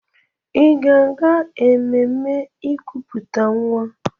Ị ga-aga ememme ikuputa nwa?